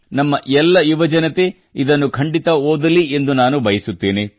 ನಮ್ಮ ಎಲ್ಲ ಯುವಜನತೆ ಇದನ್ನು ಖಂಡಿತ ಓದಲಿ ಎಂದು ನಾನು ಬಯಸುತ್ತೇನೆ